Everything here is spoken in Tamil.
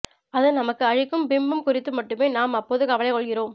அது நமக்கு அளிக்கும் பிம்பம் குறித்து மட்டுமே நாம் அப்போது கவலைகொள்கிறோம்